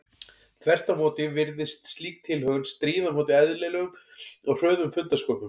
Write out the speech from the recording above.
Þvert á móti virðist slík tilhögun stríða á móti eðlilegum og hröðum fundarsköpum.